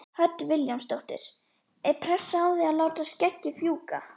Hödd Vilhjálmsdóttir: Er pressa á þig að láta skeggið fjúka?